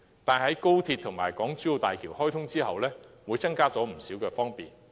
但是，在高鐵及港珠澳大橋開通後，會增加不少交通方便。